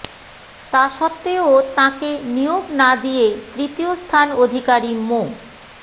তা সত্ত্বেও তাঁকে নিয়োগ না দিয়ে তৃতীয় স্থান অধিকারী মো